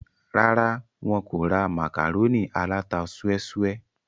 rárá, wọn kò ra màkàrónì aláta súẹ́súẹ́